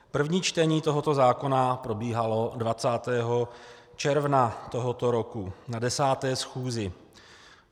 První čtení tohoto zákona probíhalo 20. června tohoto roku na 10. schůzi.